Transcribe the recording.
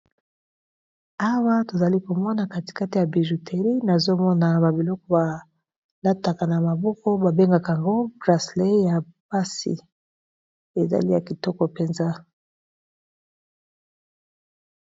Awa tozali komona kati kati ya bijouterie nazomona ba biloko balataka na maboko ba bengaka ngo bracelet ya pasi ezali ya kitoko mpenza.